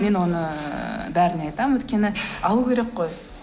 мен оны бәріне айтамын өйткені алу керек қой